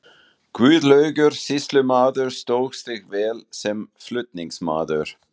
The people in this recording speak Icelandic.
Guðlaugur sýslumaður stóð sig vel sem flutningsmaður.